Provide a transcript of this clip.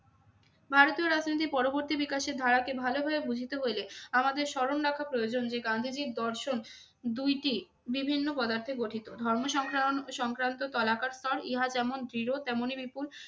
ভারতীয় রাজনীতির পরবর্তী বিকাশের ধারাকে ভালোভাবে বুঝিতে হইলে আমাদের স্মরণ রাখা প্রয়োজন যে গান্ধীজীর দর্শন দুইটি বিভিন্ন পদার্থে গঠিত। ধর্ম সংক্রান্ত তালাকার স্থল, ইহা যেমন দৃঢ় তেমনি বিপুল